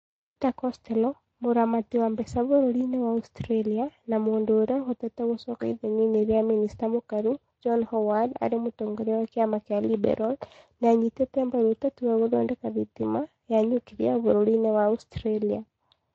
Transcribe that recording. Peter Costello, mũramati wa mbeca bũrũri-inĩ wa Australia na mũndũ ũrĩa ũhotete gũcoka ithenya-inĩ rĩa mĩnĩsta mũkaru John Howard arĩ mũtongoria wa kĩama kĩa Liberal, nĩ anyitĩte mbaru ũteti wa gũthondeka thitima ya niukiria bũrũri-inĩ wa Australia.